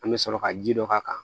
An bɛ sɔrɔ ka ji dɔ k'a kan